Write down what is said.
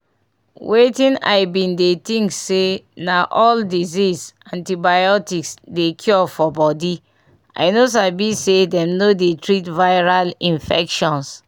wetin i been dey think say na all dieases antibiotics dey cure for body i no sabi say them no dey treat viral infections